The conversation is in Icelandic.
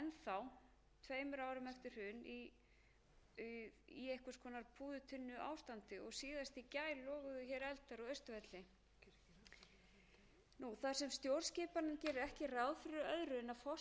á austurvelli þar sem stjórnskipanin gerir ekki ráð fyrir öðru en að forsætisráðherra hverju sinni sé sá eini sem getur rofið þing þá